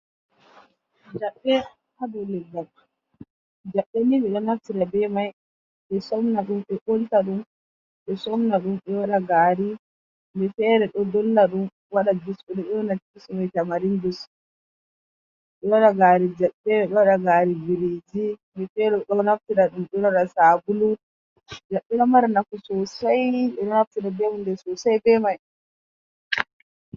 Jaɓɓe ɗo ha dou leggal, jaɓɓe ni ɓe ɗo naftira be mai ɓe somnaɗum ɓe ɓolta ɗum ɓe somnaɗum ɓe waaɗa gaari, himɓe feree ɗo dollaɗum waɗa jus ɓe ɗo nƴona jus mai tamarin jus. Ɓe ɗo waaɗa gari jaɓɓe, gaari biriji, himɓe feere ɗon naftira ɗum waaɗa sabulu, jaɓɓe ɗon mara nafu sosai ɓe ɗo naftira be hunde sosai be mai.